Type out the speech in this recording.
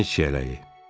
Dəniz çiyələyi.